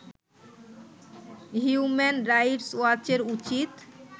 human rights ওয়াচের উচিত